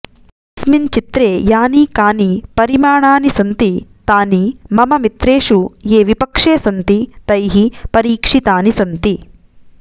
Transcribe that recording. अस्मिन् चित्रे यानि कानि परिमाणानि सन्ति तानि मम मित्रेषु ये विपक्षे सन्ति तैः परिक्षीतानि सन्ति